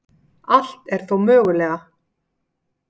Allt er þó mögulega